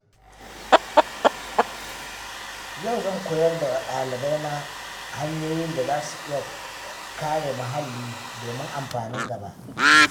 Yau zan koyar da wasu ɗalibaina hanyoyin da za su iya kare muhalli domin amfanin gaba.